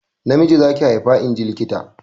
Namiji za ki haifa inji likita.